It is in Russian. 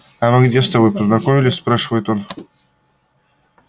а мы где с тобой познакомились спрашивает он